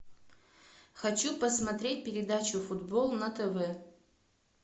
хочу посмотреть передачу футбол на тв